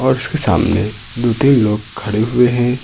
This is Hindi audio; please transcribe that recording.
इसके सामने दु तीन लोग खड़े हुए हैं।